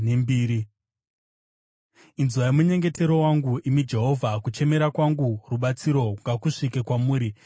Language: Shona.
Inzwai munyengetero wangu, imi Jehovha; kuchemera kwangu rubatsiro ngakusvike kwamuri.